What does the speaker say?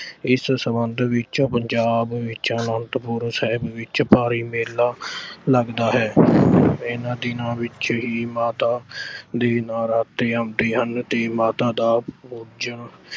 ਇਸ ਸਬੰਧ ਵਿੱਚ ਪੰਜਾਬ ਵਿੱਚ ਆਨੰਦਪੁਰ ਸਾਹਿਬ ਵਿੱਚ ਭਾਰੀ ਮੇਲਾ ਲੱਗਦਾ ਹੈ। ਇਨ੍ਹਾਂ ਦਿਨਾਂ ਵਿੱਚ ਹੀ ਮਾਤਾ ਦੇ ਨਰਾਤੇ ਆਉਂਦੇ ਹਨ ਤੇ ਮਾਤਾ ਦਾ ਪੂਜਣ